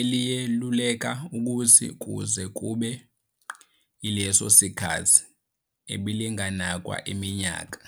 eliyeluleka ukuthi kuze kube yileso sikhathi belinganakwa iminyaka.